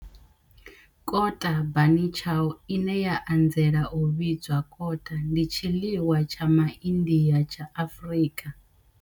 Kota bunny chow, ine ya anzela u vhidzwa kota, ndi tshiḽiwa tsha Ma India tsha Afrika.